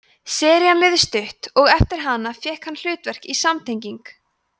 serían lifði stutt og eftir hana þá fékk hann hlutverk í samtenging